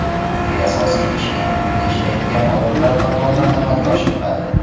Chunki asosiy ish eng quyida ishlaydigan odamlar tomonidan amalga oshiriladi.